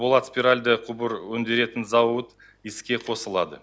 болат спиральды құбыр өндіретін зауыт іске қосылады